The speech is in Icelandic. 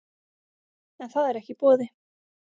En það er ekki í boði